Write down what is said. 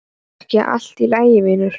Er ekki allt í lagi vinur?